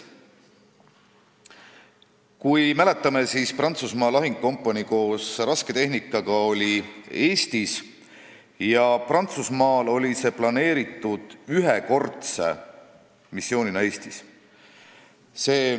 Vahest te mäletate, et Prantsusmaa lahingukompanii koos rasketehnikaga oli Eestis ja Prantsusmaal oli see plaanitud ühekordse missioonina Eestis.